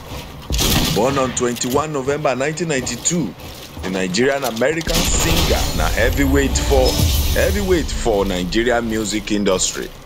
born on 21 november 1992 di nigerianamerican singer na heavyweight for heavyweight for nigerian music industry